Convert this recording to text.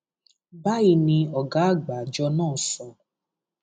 báyìí ni ọgá àgbà àjọ náà sọ